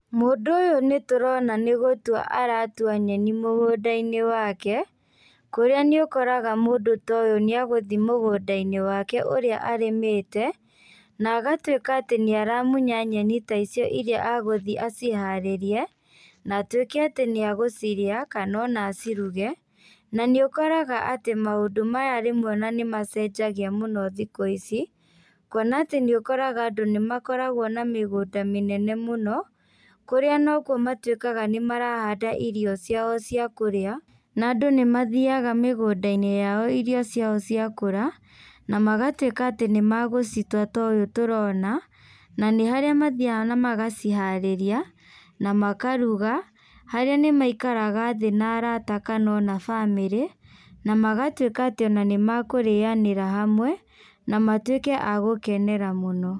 Mũndũ ũyũ nĩtũrona nĩgũtua aratua nyeni mũgũnda-inĩ wake, kũrĩa nĩũkoraga mũndũ ta ũyũ nĩagũthi mũgũnda-inĩ wake ũrĩa arĩmĩte, na agatuĩka atĩ nĩaramunya nyeni ta icio irĩa agũthiĩ aciharĩrie, na atuĩke atĩ nĩagũcirĩa, kana ona aciruge, na nĩũkoraga atĩ maũndũ maya rĩmwe ona nĩmacenjagia mũno thikũ ici, kuona atĩ nĩũkoraga andũ nĩmakoragwo na mĩgũnda mĩnene mũno, kũrĩa nokuo matuĩkaga nĩmarahanda irio ciao cia kũrĩa, na andũ nĩmathiaga mĩgũnda-inĩ yao irio ciao cia kũra, na magatuĩka atĩ nĩmagũcitua ta ũũ tũrona, nanĩ harĩa mathiaga na magaciharĩria, na makaruga, harĩa nĩ maikaraga thĩ na arata kana ona bamĩrĩ, na magatuĩka atĩ ona nĩmakũrĩanĩra hamwe, na matuĩke a gũkenera mũno.